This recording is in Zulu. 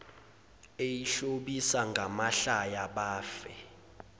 eyihlobisa ngamahlaya bafe